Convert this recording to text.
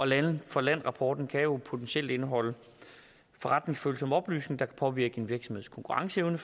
land for land rapporten kan jo potentielt indeholde forretningsfølsomme oplysninger kan påvirke en virksomheds konkurrenceevne